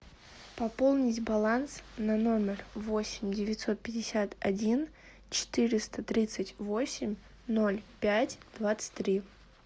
пополнить баланс на номер восемь девятьсот пятьдесят один четыреста тридцать восемь ноль пять двадцать три